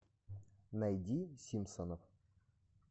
найди симпсонов